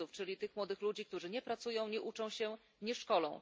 NEET, czyli tych młodych ludzi, którzy nie pracują, nie uczą się, nie szkolą.